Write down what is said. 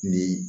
Ni